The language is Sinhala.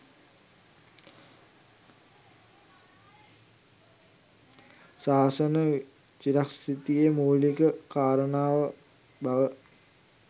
ශාසන චිරස්ථිතියෙහි මූලික කාරණාව බව